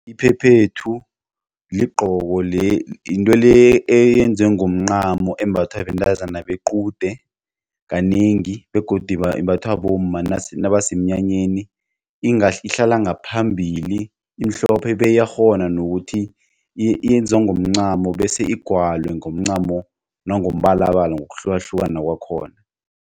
Iphephethu into le eyenziwe ngomncamo embathwa bentazana bequde kanengi begodi imbathwa bomma nabasemnyanyeni ihlala ngaphambili imihlophe beyiyakghona nokuthi yenziwa ngomncamo bese igwalwe ngomncamo nangombala bala ngokuhlukahlukana kwakhona.